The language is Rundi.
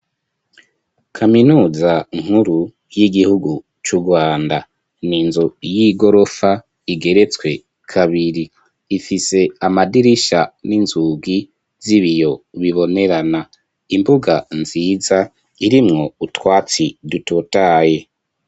Kaminuza nkuru y'igihugu cu Rwanda n'inzu y'igorofa igeretswe kabiri ifise amadirisha n'inzugi z'ibiyo bibonerana imbuga nziza irimwo utwatsi dutotaye